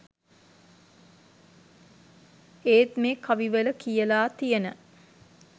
ඒත් මේ කවි වල කියලා තියෙන